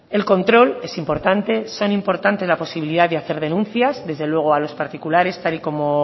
el control es importante son importantes la posibilidad de hacer denuncias desde luego a los particulares tal y como